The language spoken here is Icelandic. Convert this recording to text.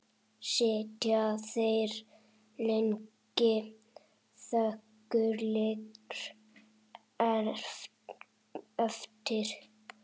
Sitja þeir lengi þögulir eftir.